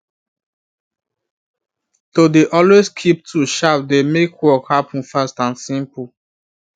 to dey always keep tools sharp dey make work happen fast and simple